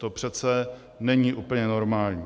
To přece není úplně normální.